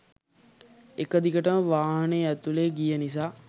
එක දිගටම වාහනේ ඇතුලේ ගිය නිසා.